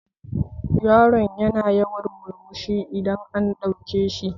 Yaron yana yawan murmushi idan an ɗauke shi